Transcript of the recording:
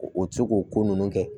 O ti se k'o ko ninnu kɛ